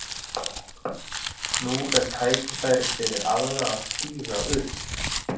Nú er tækifærið fyrir aðra að stíga upp.